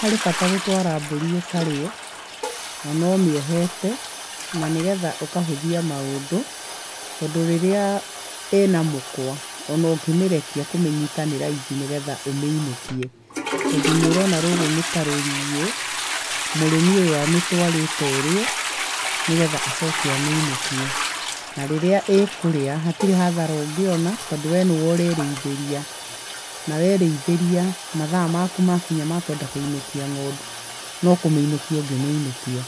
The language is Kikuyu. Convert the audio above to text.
Harĩ bata gũtwara mbũri ĩkarĩe ona ũmĩohete, na nĩgetha ũkahũthia maũndũ tondũ rĩrĩa ĩna mũkwa ona ũngĩmĩrekia kũmĩnyita nĩ raithi nĩgetha ũmĩinũkie. Tondũ nĩ ũrona rũrũ nĩ ta rũriĩ mũrĩmi ũyũ amĩtwarĩte ĩrĩe nĩgetha acoke amĩinũkie. Na rĩrĩa ĩkũrĩa hatirĩ hathara ũngĩona tondũ we nĩwe ũrerĩithĩria. Na werĩithĩria, mathaa maku makinya makwenda kũinũkia ngondu no kũmĩinũkia ũngĩmĩinũkia.